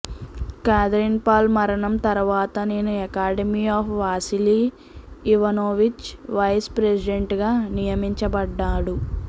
Catherine Paul మరణం తరువాత నేను academy of Vasily Ivanovich vice president గా నియమించబడ్డాడు